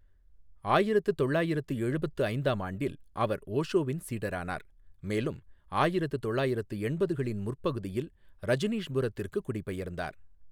ஆயிரத்து தொள்ளாயிரத்து எழுபத்து ஐந்தாம் ஆண்டில், அவர் ஓஷோவின் சீடரானார், மேலும் ஆயிரத்து தொள்ளாயிரத்து எண்பதுகளின் முற்பகுதியில், ரஜினீஷ்புரத்திற்குக் குடிபெயர்ந்தார்.